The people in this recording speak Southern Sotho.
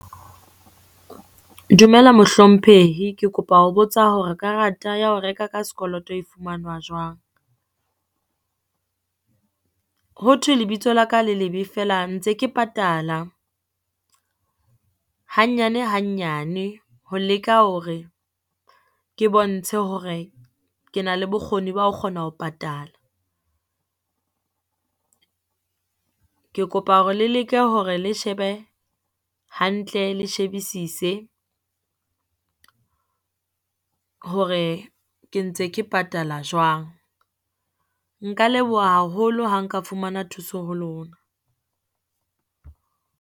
Dumela mohlomphehi, ke kopa ho botsa hore karata ya ho reka ka sekoloto e fumanwa jwang? Ho thwe lebitso la ka le lebe feela ntse ke patala hanyane hanyane, ho leka hore ke bontshe hore ke na le bokgoni ba kgona ho patala. Ke kopa hore le leke hore le shebe hantle, le shebisise hore ke ntse ke patala jwang. Nka leboha haholo ha nka fumana thuso ho lona.